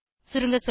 சுருங்கசொல்ல